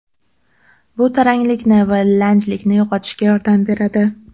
Bu taranglikni va lanjlikni yo‘qotishga yordam beradi.